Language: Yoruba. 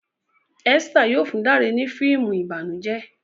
Esther yóò fún Dare ni fíìmù ìbànújẹ